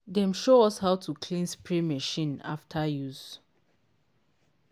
dem show us how to clean spray machine after use.